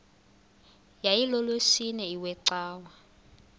yayilolwesine iwe cawa